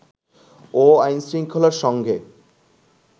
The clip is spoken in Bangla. ও আইন-শৃংখলার সঙ্গে